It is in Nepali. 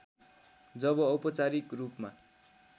जब औपचारिक रूपमा